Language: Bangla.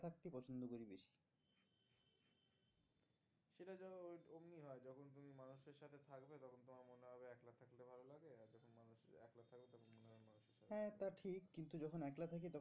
কিন্তু যখন একলা থাকি